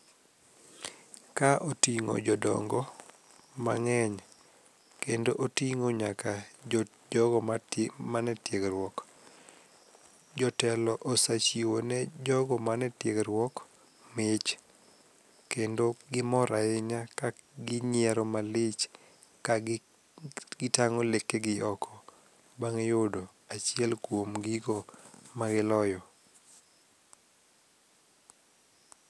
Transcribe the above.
Ka oting'o jodongo mang'eny kendo oting'o nyaka jogo mane tiegruok. Jotelo osachiwo ne jogo man e tiegruok mich kendo gimor ahinya ka ginyiero malich ka gitang'o lekegi oko bang' yudo achiel kuom gigo magiloyo.